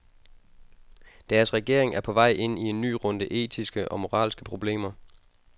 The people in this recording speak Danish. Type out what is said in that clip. Deres regering er på vej ind i en ny runde etiske og moralske problemer.